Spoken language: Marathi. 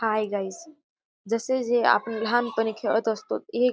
हाय गाईज जसे जे आपण लहानपणी खेळत असतोत. एक --